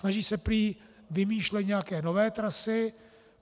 Snaží se prý vymýšlet nějaké nové trasy.